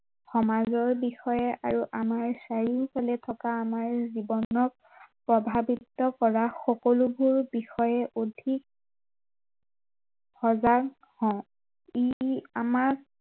সমাজৰ বিষয়ে আৰু আমাৰ চাৰিওফালে থকা আমাৰ জীৱনক প্ৰভাৱিত কৰা সকলোবোৰ বিষয়ে অধিক সজাগ হও, ই ই আমাৰ